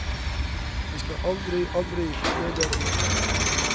Jeg skal aldri, aldri bli leder igjen.